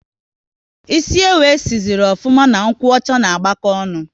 Ịsị ewu e si sịrị ofuma na nkwocha ná agbako ọṅụ